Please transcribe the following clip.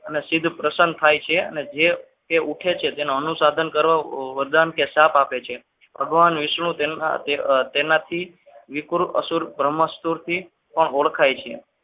અને સીધું પસંદ થાય છે અને જે પૂછે છે તેનો અનુસંધાન કરવા વરદાન કે શ્રાપ આપે છે ભગવાન વિષ્ણુ તેના તેનાથી વિક્રમ સ્ત્રોતથી પણ ઓળખાય છે.